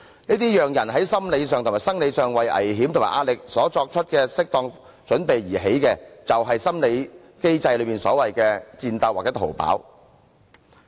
這些讓人在心理上和生理上為危險和壓力作出的適當準備，就是心理機制所謂的"戰鬥"或"逃跑"。